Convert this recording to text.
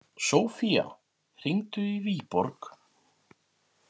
Sofía, hringdu í Viborg.